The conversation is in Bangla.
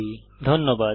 অংশগ্রহনের জন্য ধন্যবাদ